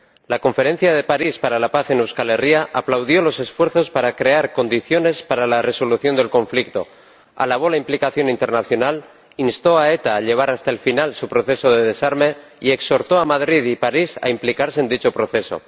La conferencia de París para la paz en Euskal Herria aplaudió los esfuerzos para crear condiciones para la resolución del conflicto, alabó la implicación internacional, instó a ETA a llevar hasta el final su proceso de desarme y exhortó a Madrid y París a implicarse en dicho proceso.